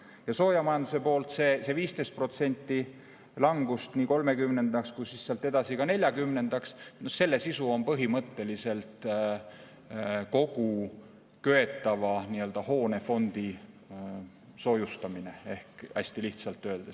Soojamajanduse poolel selle 15% langust 2030. aastaks ja sealt edasi ka 2040. aastaks põhimõtteliselt kogu köetava hoonefondi soojustamine, kui hästi lihtsalt öelda.